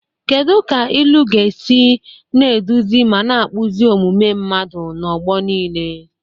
Kedu ka ilu ga-esi na-eduzi ma na-akpụzi omume mmadụ n'ọgbọ niile?